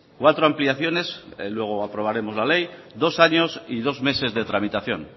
cuatro ampliaciones luego aprobaremos la ley dos años y los meses de tramitación